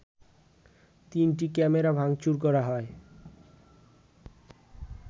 তিনটি ক্যামেরা ভাংচুর করা হয়